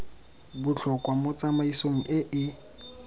botlhokwa mo tsamaisong e e